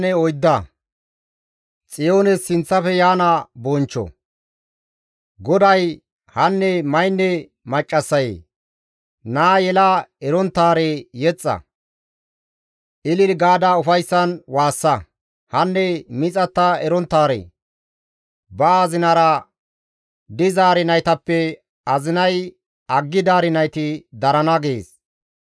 GODAY, «Hanne maynne maccassayee, naa yela eronttaare yexxa; ilili gaada ufayssan waassa; hanne miixatta eronttaare, ba azinara dizaari naytappe azinay aggidaari nayti darana» gees.